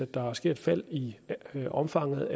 der sker et fald i omfanget